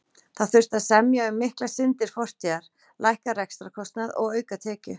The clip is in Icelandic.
Það þurfti að semja um miklar syndir fortíðar, lækka rekstrarkostnað og auka tekjur.